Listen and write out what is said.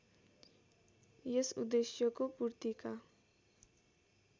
यस उद्देश्यको पूर्तिका